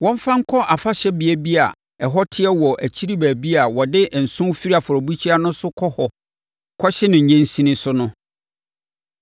wɔmfa nkɔ afahyɛbea bi a ɛhɔ te wɔ akyiri baabi a wɔde nsõ firi afɔrebukyia no so kɔ hɔ kɔhye no nnyensin so no.